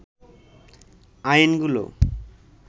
আইনগুলো